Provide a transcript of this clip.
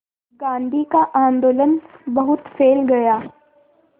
गांधी का आंदोलन बहुत फैल गया